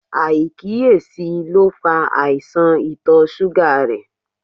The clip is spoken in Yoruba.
Aikiyesi lo fa aisan ìtọ̀ suga rẹ